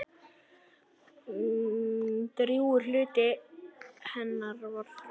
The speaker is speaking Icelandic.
Drjúgur hluti hennar var Þórður.